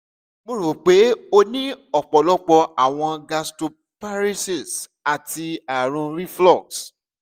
mo ro pe o ni ọpọlọpọ awọn gastroparesis ati arun reflux